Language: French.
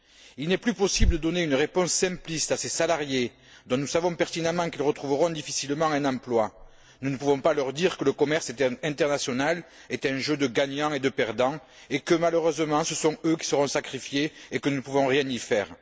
Il n'est plus possible de donner une réponse simpliste à ces salariés, dont nous savons pertinemment qu'ils retrouveront difficilement un emploi. Nous ne pouvons pas leur dire que le commerce international est un jeu de gagnants et de perdants, et que, malheureusement, ce sont eux qui seront sacrifiés et que nous ne pouvons rien y faire.